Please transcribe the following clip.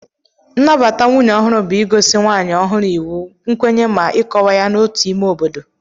Nnabata nwunye ohu bu igosi nwanyi ọhụrụ iwu, nkwenye ma ikọwa ya n'otu ime obodo.